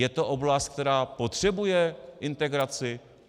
Je to oblast, která potřebuje integraci?